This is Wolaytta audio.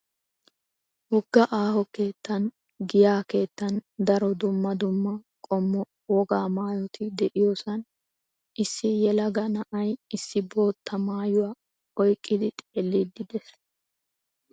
Wogga aaho keettan giyaa keettan daro dumma dumma qommo wogaa maayoti de"iyoosan issi yelaga na"ay issi bootta maayuwaa oyqqidi xeelliiddi de'ees.